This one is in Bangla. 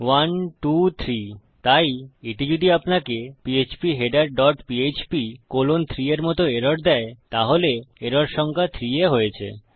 1 2 3 তাই এটি যদি আপনাকে ফিডার ডট পিএচপি কলন 3 এর মত এরর দেয় তাহলে এরর রেখা সংখ্যা 3 এ হয়েছে